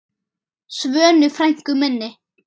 Svönu frænku minni.